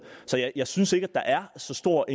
så jeg jeg synes ikke at der er så stor